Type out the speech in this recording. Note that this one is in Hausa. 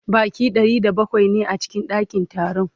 Baƙi Ɗari da bakwai ne a cikin ɗakin taron